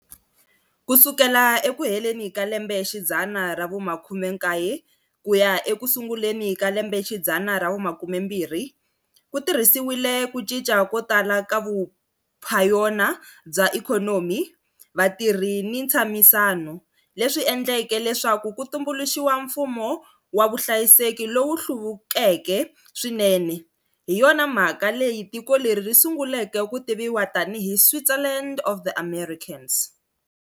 Ku sukela eku heleni ka lembexidzana ra vu-19 ku ya eku sunguleni ka lembexidzana ra vu-20, ku tirhisiwile ku cinca ko tala ka vuphayona bya ikhonomi, vatirhi ni ntshamisano, leswi endleke leswaku ku tumbuluxiwa mfumo wa vuhlayiseki lowu hluvukeke swinene, hi yona mhaka leyi tiko leri ri sunguleke ku tiviwa tanihi Switzerland of the Americas.